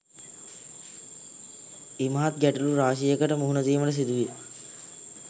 ඉමහත් ගැටලු රාශියකට මුහුණ දීමට සිදුවිය.